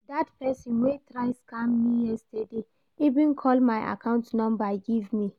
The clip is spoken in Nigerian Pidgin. That person wey try scam me yesterday even call my account number give me